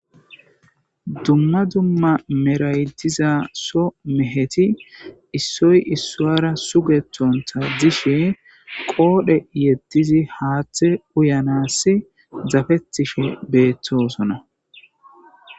Dumma dumma meraytiza so meheti issoy issoara sugethonta dishe qoodhe yeddizi haaththe uyanassi zafettishe beettosona.